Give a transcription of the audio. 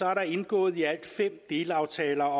er der indgået i alt fem delaftaler